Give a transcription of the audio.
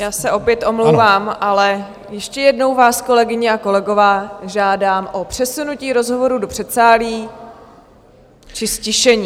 Já se opět omlouvám, ale ještě jednou vás, kolegyně a kolegové, žádám o přesunutí rozhovorů do předsálí či ztišení.